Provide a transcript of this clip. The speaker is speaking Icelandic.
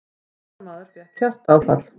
Ferðamaður fékk hjartaáfall